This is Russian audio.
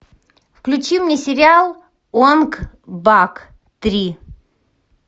включи мне сериал онг бак три